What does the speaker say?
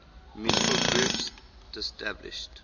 musical groups disestablished